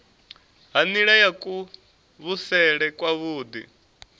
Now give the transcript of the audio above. ha nila ya kuvhusele kwavhui